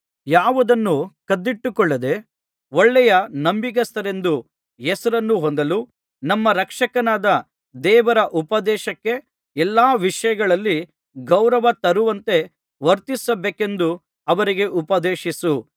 ಯಾವುದನ್ನೂ ಕದ್ದಿಟ್ಟುಕೊಳ್ಳದೆ ಒಳ್ಳೆಯ ನಂಬಿಗಸ್ತರೆಂದು ಹೆಸರನ್ನು ಹೊಂದಲು ನಮ್ಮ ರಕ್ಷಕನಾದ ದೇವರ ಉಪದೇಶಕ್ಕೆ ಎಲ್ಲಾ ವಿಷಯಗಳಲ್ಲಿ ಗೌರವ ತರುವಂತೆ ವರ್ತಿಸಬೇಕೆಂದು ಅವರಿಗೆ ಉಪದೇಶಿಸು